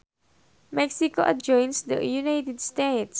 Mexico adjoins the United States